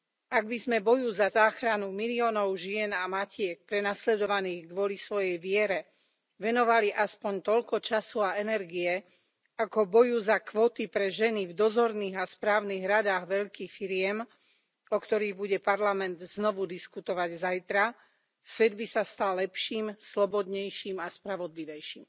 Ak by sme boju za záchranu miliónov žien a matiek prenasledovaných pre ich vieru venovali aspoň toľko času a energie ako boju za kvóty pre ženy v dozorných a správnych radách veľkých firiem, o ktorých bude Parlament znovu diskutovať zajtra, svet by sa stal lepším, slobodnejším a spravodlivejším.